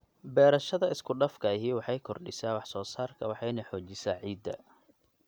Beerashada iskudhafka ahi waxay kordhisaa wax soosaarka waxayna xoojisaa ciidda.